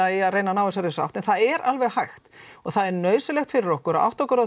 í að reyna að ná þessari sátt endilega en það er alveg hægt og það er nauðsynlegt fyrir okkur að átta okkur á